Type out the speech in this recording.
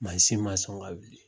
Mansin ma sɔn ka wuli